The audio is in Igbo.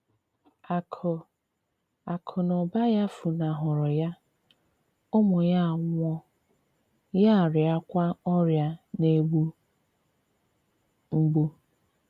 Akụ̀ Akụ̀ na ụba ya funahụrụ ya, ụmụ ya anwụọ, ya arịakwa ọrịa na - egbu mgbu.